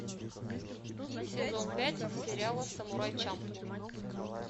сезон пять сериала самурай чамплу